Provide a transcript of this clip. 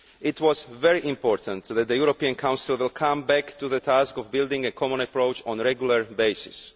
It was very important that the European Council will come back to the task of building a common approach on a regular basis.